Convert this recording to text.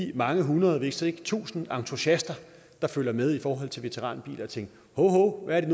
de mange hundrede hvis ikke tusinde entusiaster der følger med i forhold til veteranbiler og tænke hov hov hvad